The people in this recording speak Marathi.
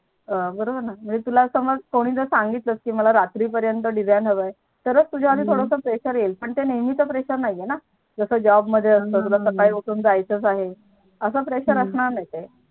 बरोबर ना तुला कोणी सांगितलं कि मला रात्री पर्यंत Design हवा आहे तरच तुझ्यावर थोडा Pressure येऊही पण ते नेहमीच Pressure नाही आहे ना जस Job मध्ये असत कि तुला असकली उठून जायचं आहे असं Pressure असणार नाही ते